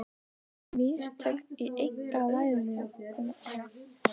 Voru mistök í einkavæðingunni?